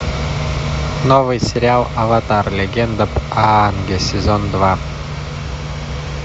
новый сериал аватар легенда об аанге сезон два